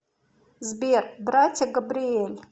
сбер братья габриэль